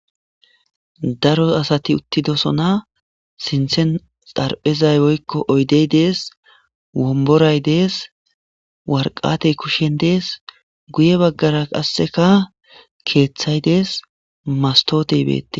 daro asati uttidosona sinthen xarphezay woykko oydey dees womboray dees warqatey kushshen dees guye baggara qasseka keeththay dees mastoote beette